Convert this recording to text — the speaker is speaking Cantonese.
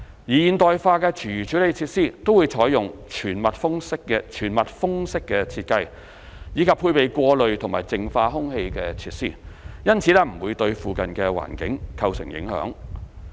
現代化的廚餘處理設施都採用全密封式設計，以及配備過濾及淨化空氣設施，因此不會對附近環境構成影響。